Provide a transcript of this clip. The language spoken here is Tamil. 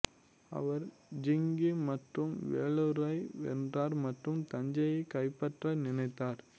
அவர் ஜிங்கி மற்றும் வேலூரை வென்றார் மற்றும் தஞ்சையை கைப்பற்ற நினைத்தார்